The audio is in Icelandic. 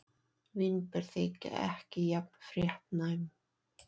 Vínber þykja ekki jafn fréttnæm.